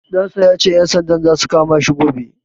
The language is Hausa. Ɗan sa ya ce, ƴan sandan za su kama shi gobe.